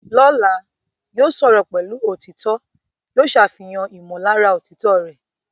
Lọ́la, yóò sọ̀rọ̀ pẹ̀lú òtítọ́, yóò ṣàfihàn ìmọ̀lára òtítọ́ rẹ̀.